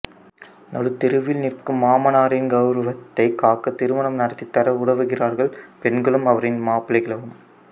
நடுத்தெருவில் நிற்கும் மாமனாரின் கௌரவத்தைக் காக்க திருமணம் நடத்தித்தர உதவுகிறார்கள் பெண்களும் அவரின் மாப்பிள்ளைகளும்